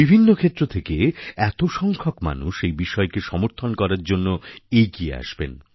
বিভিন্ন ক্ষেত্র থেকে এত সংখ্যক মানুষ এই বিষয়কে সমর্থন করার জন্য এগিয়ে আসবেন